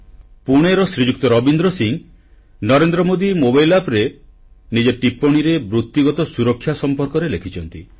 ପୁଣେର ଶ୍ରୀଯୁକ୍ତ ରବୀନ୍ଦ୍ର ସିଂ ନରେନ୍ଦ୍ର ମୋଦି ମୋବାଇଲ୍ Appରେ ନିଜ ଟିପ୍ପଣୀରେ ବୃତିଗତ ସୁରକ୍ଷା ସମ୍ପର୍କରେ ଲେଖିଛନ୍ତି